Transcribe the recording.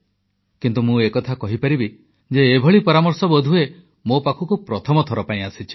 କିନ୍ତୁ ମୁଁ ଏକଥା କହିପାରିବି ଯେ ଏପରି ପରାମର୍ଶ ବୋଧହୁଏ ମୋ ପାଖକୁ ପ୍ରଥମ ଥର ପାଇଁ ଆସିଛି